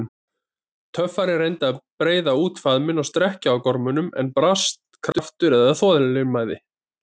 Töffarinn reyndi að breiða út faðminn og strekkja á gormunum, en brast kraftur eða þolinmæði.